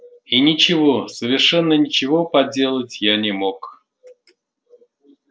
и ничего совершенно ничего поделать я не мог